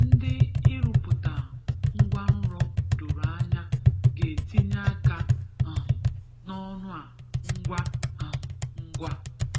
Ndị ịrụpụta ngwanrọ doro anya ga-etinye aka um n'ọrụ a ngwa um ngwa.